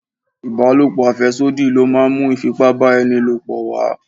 Ibalopo afesodi ló máa ń mú Ifipá-ba-eni-lopo wá.